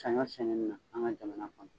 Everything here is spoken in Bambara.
Sanɲɔ sɛnɛni na an ga jamana kɔnɔ